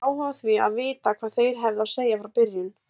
Ég hafði áhuga á því að vita hvað þeir hefðu að segja frá byrjun.